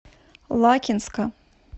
лакинска